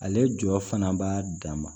Ale jɔ fana b'a dama